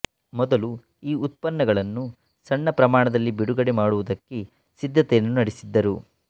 ಮೊದಲು ಈ ಉತ್ಪನ್ನಗಳನ್ನು ಸಣ್ಣ ಪ್ರಮಾಣದಲ್ಲಿ ಬಿಡುಗಡೆ ಮಾಡುವುದಕ್ಕೆ ಸಿದ್ದತೆಯನ್ನು ನಡೆಸಿದ್ದರು